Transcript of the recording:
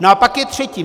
No a pak je třetí.